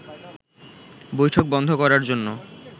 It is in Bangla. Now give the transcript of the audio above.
বৈঠক বন্ধ করার জন্য